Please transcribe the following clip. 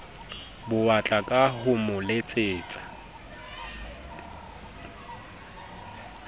bowatla ka ho mo letsetsa